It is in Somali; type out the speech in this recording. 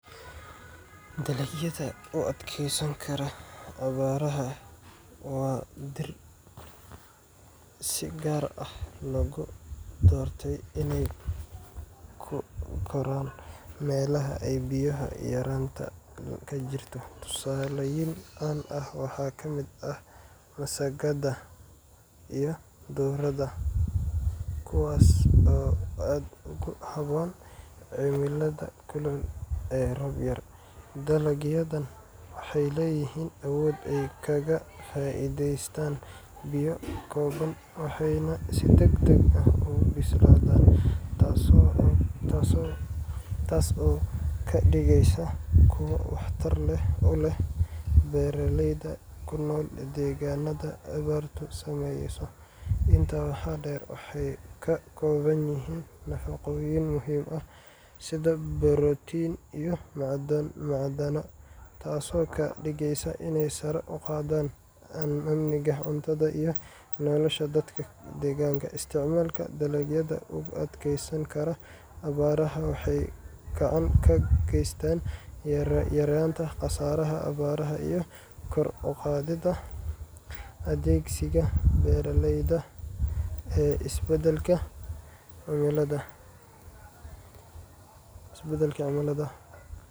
Dalagyada u adkeysan kara abaaraha waa dhir si gaar ah loogu doortay inay ku koraan meelaha ay biyo yaraanta ka jirto. Tusaalooyin caan ah waxaa ka mid ah masagada iyo durrada , kuwaas oo aad ugu habboon cimilada kulul ee roob yar. Dalagyadan waxay leeyihiin awood ay kaga faa’iideystaan biyo kooban, waxayna si degdeg ah u bislaadaan, taas oo ka dhigaysa kuwo waxtar u leh beeraleyda ku nool deegaannada abaartu saameyso. Intaa waxaa dheer, waxay ka kooban yihiin nafaqooyin muhiim ah, sida borotiin iyo macdano, taasoo ka dhigaysa inay sare u qaadaan amniga cuntada iyo nolosha dadka deegaanka. Isticmaalka dalagyada u adkeysan kara abaaraha waxay gacan ka geysataa yaraynta khasaaraha abaaraha iyo kor u qaadidda adkeysiga beeraleyda ee isbeddelka cimilada.